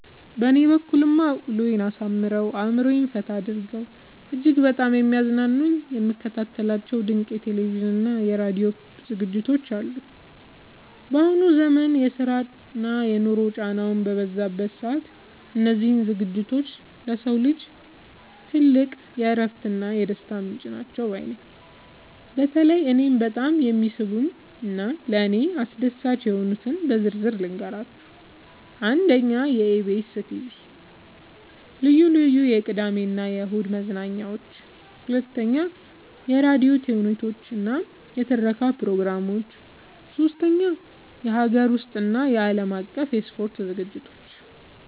በእኔ በኩልማ ውሎዬን አሳምረው፣ አእምሮዬን ፈታ አድርገው እጅግ በጣም የሚያዝናኑኝና የምከታተላቸው ድንቅ የቴሌቪዥንና የራዲዮ ዝግጅቶች አሉኝ! ባሁኑ ዘመን የስራና የኑሮ ጫናው በበዛበት ሰዓት፣ እነዚህ ዝግጅቶች ለሰው ልጅ ትልቅ የእረፍትና የደስታ ምንጭ ናቸው ባይ ነኝ። በተለይ እኔን በጣም የሚስቡኝንና ለእኔ አስደሳች የሆኑትን በዝርዝር ልንገራችሁ፦ 1. የኢቢኤስ (EBS TV) ልዩ ልዩ የቅዳሜና እሁድ መዝናኛዎች 2. የራዲዮ ተውኔቶችና የትረካ ፕሮግራሞች 3. የሀገር ውስጥና የዓለም አቀፍ የስፖርት ዝግጅቶች